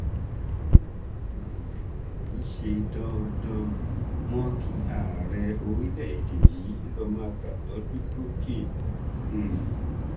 kì um í ṣe dandan mọ kí ààrẹ orílẹèdè yìí lọọ máa gbàtọjú lókè um